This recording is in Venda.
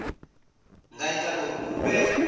nga ita uri hu vhe